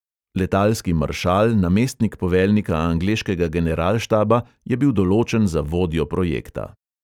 Letalski maršal, namestnik poveljnika angleškega generalštaba, je bil določen za vodjo projekta.